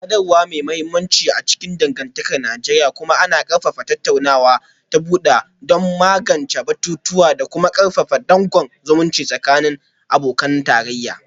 Sadarwa mai mahimmanci a cikin dangantakar Najeriya, kuma ana ƙarfafa tattaunawa ta bude don magance batutuwa da kuma karfafa dankon zumunci tsakanin abokan tarayya